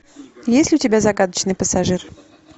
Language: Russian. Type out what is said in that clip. есть ли у тебя загадочный пассажир